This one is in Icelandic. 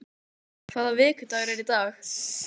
Sera, hvaða vikudagur er í dag?